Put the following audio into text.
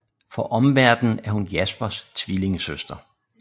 For omverdenen er hun Jaspers tvillingesøster